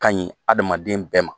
Kaɲi adamaden bɛɛ ma.